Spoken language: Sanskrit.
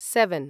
सेवन्